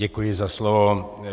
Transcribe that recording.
Děkuji za slovo.